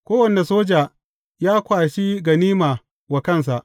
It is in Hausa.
Kowane soja, ya kwashi ganima wa kansa.